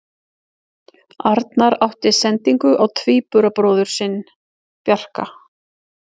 Arnar átti sendingu á tvíburabróðir sinn Bjarka.